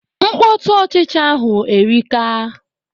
Mkpọtụ ọchịcha ahụ erika.